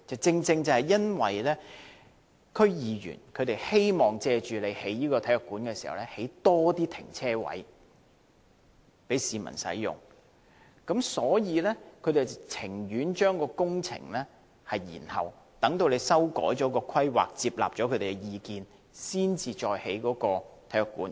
正是因為區議員希望藉興建體育館，多興建停車位，供市民使用，所以他們寧願將工程延後，待政府接納他們的意見，修改規劃後再建體育館。